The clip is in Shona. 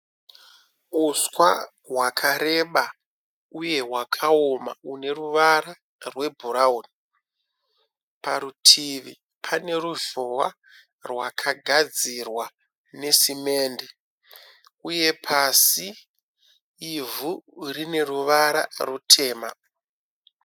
Huswa hwakareba uye hwakaoma hune ruvara rwebhurawuni. Parutivi pane ruzhowa rwakagadzirwa nesemende uye pasi ivhu rine ruvara rutema.